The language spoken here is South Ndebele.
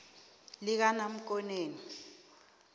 likanamkoneni